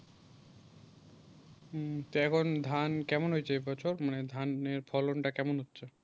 হুম তো এখন দেন কেমন হয়েছে এই বছর মানে দানের ফলন তা কেমন হচ্ছে?